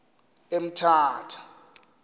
emthatha